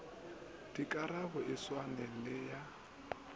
dikarabo e swane le ya